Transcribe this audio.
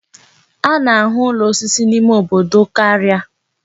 A na-ahụ ụlọ osisi n'ime obodo karịa.